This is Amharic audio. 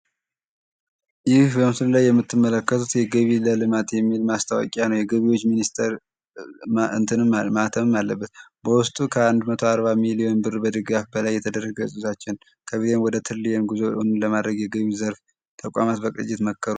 ይህ በምስሉ ላይ የምትመለከቱት የገቢ ለልማት የሚል ማስታወቂያ ነው። የገቢዎች ሚኒስቴር ማህተብ አለበት በውስጡ ከአንድ መቶ አርባ ሚሊዮን ብር በላይ ድጋፍ የተደረገበት ጉዞአችን ከቢሊየን ወደትሪዬን ጉዞ ለማድረግ ተቋማቶች መከሩ።